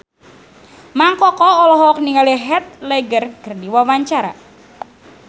Mang Koko olohok ningali Heath Ledger keur diwawancara